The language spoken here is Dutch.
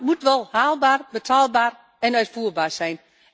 Maar het moet wel haalbaar, betaalbaar en uitvoerbaar zijn.